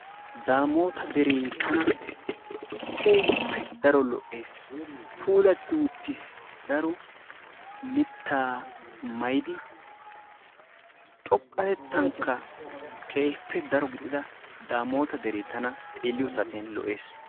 Damoota dere tana keehippe daro lo"ees. puullatti uttiis daro mittaa maayidi xooqqatettanikka keehippe daro giidida dammota deree tana xeelliyoo saatiyaan lo"ees.